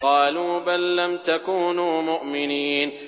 قَالُوا بَل لَّمْ تَكُونُوا مُؤْمِنِينَ